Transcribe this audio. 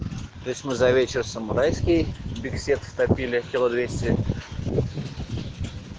то есть мы за вечер самурайский берискет втопили кило двести